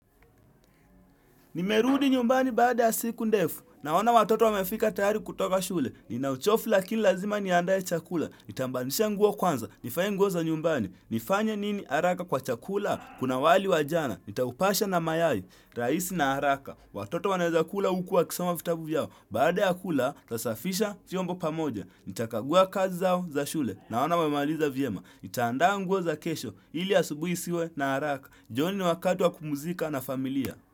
Nimerudi nyumbani baada ya siku ndefu, naona watoto wamefika tayari kutoka shule, nina uchovu lakini lazima niandae chakula, nitabadilisha nguo kwanza, nivae nguo za nyumbani, nifanya nini haraka kwa chakula, kuna wali wa jana, nitaupasha na mayai, rahisi na haraka, watoto wanaweza kula huku wakisoma vitabu vyao, baada ya kula nasafisha vyombo pamoja, nita kagua kazi zao za shule, naona wamemaliza vyema, nitaandaa nguo za kesho, ili asubuhi isiwe na haraka, jioni ni wakati wa kupumzika na familia.